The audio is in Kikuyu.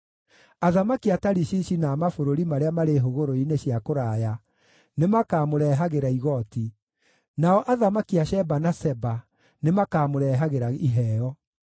Athamaki a Tarishishi na a mabũrũri marĩa marĩ hũgũrũrũ-inĩ cia kũraya nĩmakamũrehagĩra igooti; nao athamaki a Sheba na Seba nĩmakamũrehagĩra iheo.